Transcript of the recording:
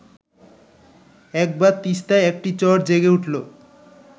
একবার তিস্তায় একটি চর জেগে উঠল